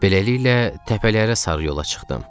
Beləliklə, təpələrə sarı yola çıxdım.